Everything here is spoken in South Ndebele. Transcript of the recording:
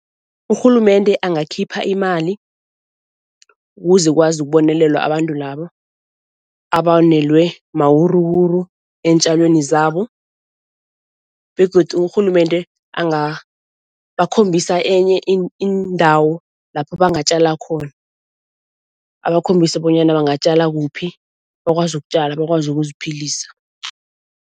Urhulumende angakhipha imali, ukuze kwazi ukubonelelwa abantu labo abonelwe mawuruwuru eentjalweni zabo begodu urhulumende angabakhombisa enye iindawo lapho bangatjala khona. Abakhombise bonyana bangatjala kuphi bakwazi ukutjala, bakwazi ukuziphilisa.